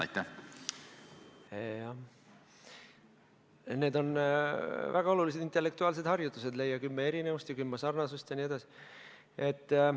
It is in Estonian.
Jah, need on väga olulised intellektuaalsed harjutused: leia kümme erinevust ja kümme sarnasust jne.